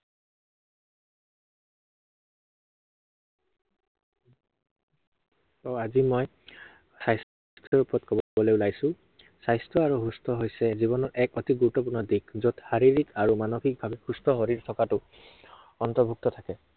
আহ আজি, মই স্বাস্থ্য়ৰ ওপৰত কব~কবলৈ ওলাইছো। স্বাস্থ্য় আৰু সুস্থ হৈছে জীৱনৰ এক অতি গুৰুত্বপূৰ্ণ দিশ। য'ত শাৰীৰিক আৰু মানিসক ভাৱে সুস্থ শৰীৰ থকাটো, অন্তৰ্ভুক্ত থাকে।